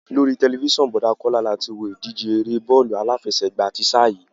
Lórí tẹ̀lifísàn Bọ̀dá Kọ́lá la ti wo ìdíje eré e bọ́ọ̀lù aláfẹsẹ̀gbá ti sáà yìí